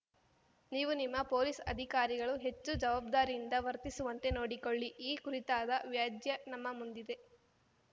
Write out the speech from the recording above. ನೀವು ನಿಮ್ಮ ಪೊಲೀಸ್‌ ಅಧಿಕಾರಿಗಳು ಹೆಚ್ಚು ಜವಾಬ್ದಾರಿಯಿಂದ ವರ್ತಿಸುವಂತೆ ನೋಡಿಕೊಳ್ಳಿ ಈ ಕುರಿತಾದ ವ್ಯಾಜ್ಯ ನಮ್ಮ ಮುಂದಿದೆ